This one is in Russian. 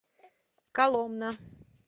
коломна